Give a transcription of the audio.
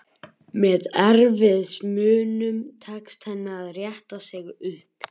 Með erfiðismunum tekst henni að rétta sig upp.